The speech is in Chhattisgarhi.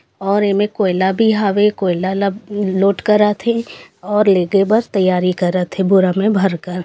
और ऐमे कोयला भी हवे कोयला ला लोड करत हे और लेगे बर तैयारी करत हे बोरा में भरकर--